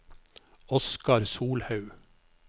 Oskar Solhaug